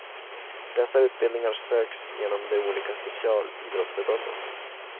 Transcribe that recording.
Dessa utbildningar söks genom de olika specialidrottsförbunden.